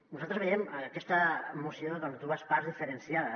nosaltres veiem en aquesta moció doncs dues parts diferenciades